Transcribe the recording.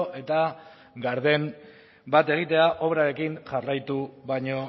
eta garden bat egitea obrarekin jarraitu baino